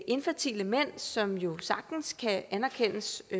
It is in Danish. infertile mænd som jo sagtens kan anerkendes